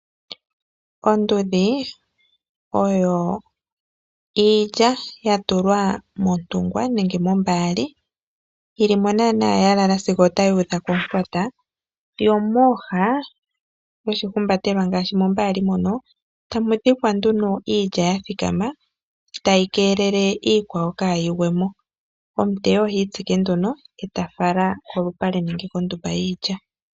Ondudhi oyo iilya yatulwa montungwa nenge mombaali yili mo naana ya lala sigo otayi udha komufwata, yomooha yoshihumbatelwa ngaashi mombaali mono tamu dhikwa nduno iilya yathikama tayi keelele iikwawo kaayigwemo. Omuteyi ohiitsike nduno eta fala kolupale nenge kondumba yiilya.